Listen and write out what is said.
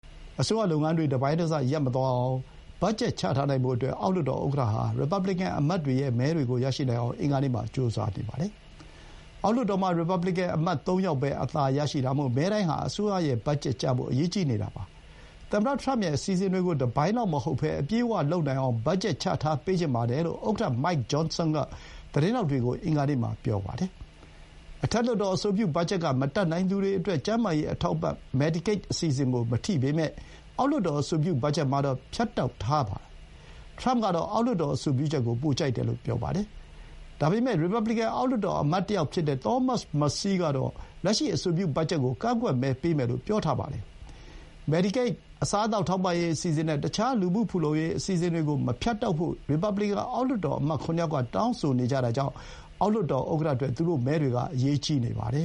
အစိုးရလုပ်ငန်းတွေ တပိုင်းတစ ရပ်မသွားနိုင်အောင် ဘတ်ဂျက် ချထားနိုင်ဖို့အတွက် အောက်လွှတ်တော်ဥက္ကဋ္ဌဟာ ရီပတ်ဘလီကန်အမတ်တွေရဲ့ မဲတွေကို ရနိုင်အောင် အင်္ဂါနေ့မှာ ကြိုးစားနေပါတယ်။ အောက်လွှတ်တော်မှာ ရီပတ်ဘလီကန်အမတ် သုံးယောက်ပဲ အသာရတာမို့ မဲတိုင်းဟာ အစိုးရ ဘတ်ဂျက်ကျဖို့ အရေးကြီးနေတာပါ။ သမ္မတထရမ့်ရဲ့ အစီအစဥ်တွေကို တပိုင်းလောက်မဟုတ်ဘဲ အပြည့်အဝလုပ်နိုင်အောင် ဘတ်ဂျက် ချထားပေးချင်ပါတယ်လို့ ဥက္ကဋ္ဌ Mike Johnson က သတင်းထောက်တွေကို အင်္ဂါနေ့မှာ ပြောပါတယ်။ အထက်လွှတ်တော် အဆိုပြုဘတ်ဂျက်က မတတ်နိုင်သူတွေအတွက် ကျန်းမာရေး အထောက်အပံ့ medicaid အစီအစဥ်ကို မထိပေမဲ့ အောက်လွှတ်တော် အဆိုပြုဘတ်ဂျက်မှာတော့ ဖြတ်တောက်ထားတာပါ။ ထရမ့်ကတော့ အောက်လွှတ်တော် အဆိုပြုချက်ကို ပိုကြိုက်တယ်လို့ ပြောပါတယ်။ ဒါပေမဲ့ ရီပတ်ဘလီကန် အောက်လွှတ်တော် အမတ်တယောက်ဖြစ်တဲ့ Thomas Massie ကတော့ လက်ရှိ အဆိုပြု ဘတ်ဂျက်ကို ကန့်ကွက်မဲပေးမယ်လို့ ပြောထားပါတယ်။ Medicaid, အစားအသောက် ထောက်ပံ့ရေးအစီအစဥ်နဲ့ တခြား လူမှုဖူလုံရေး အစီအစဥ်တွေကို မဖြတ်တောက်ဖို့ ရီပတ်ဘလီကန် အောက်လွှတ်တော်အမတ် ၇ ယောက်က တောင်းဆိုနေကြတာကြောင့် အောက်လွှတ်တော်ဥက္ကဋ္ဌအတွက် သူတို့မဲတွေက အရေးကြီးနေပါတယ